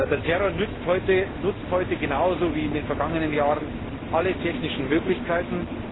Der Terror nutzt heute genauso wie in den vergangenen Jahren alle technischen Möglichkeiten.